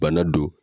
Bana don